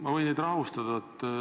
Ma võin teid rahustada.